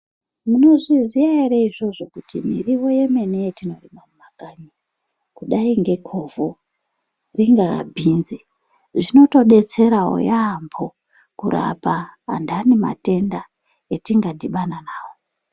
Munozviziya ere izvozvo kuti miriwo yemene yetinorima mumakanyi kudai ngekovho, ringa bhinzi zvinotodetserawo yaambo kurapa antani matenda etingadhibhana nawo.